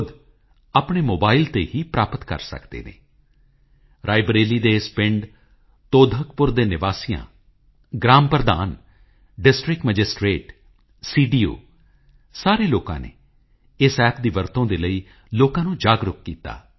ਵਿਆਸ ਜੀ ਨੇ ਬਹੁਤ ਹੀ ਅਹਿਮ ਭੂਮਿਕਾ ਨਿਭਾਈ ਆਜ਼ਾਦ ਹਿੰਦ ਰੇਡੀਓ ਉੱਪਰ ਪ੍ਰਸਾਰਿਤ ਹੋਣ ਵਾਲੇ ਪ੍ਰੋਗਰਾਮ ਆਮ ਲੋਕਾਂ ਦਰਮਿਆਨ ਕਾਫੀ ਹਰਮਨਪਿਆਰੇ ਸਨ ਅਤੇ ਉਨ੍ਹਾਂ ਦੇ ਪ੍ਰੋਗਰਾਮਾਂ ਨਾਲ ਸਾਡੇ ਸੁਤੰਤਰਤਾ ਸੰਗ੍ਰਾਮ ਦੇ ਯੋਧਿਆਂ ਨੂੰ ਵੀ ਬਹੁਤ ਤਾਕਤ ਮਿਲੀ